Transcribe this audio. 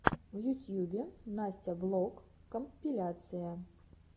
в ютьюбе настя влог компиляция